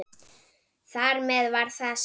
Þar með var það sagt.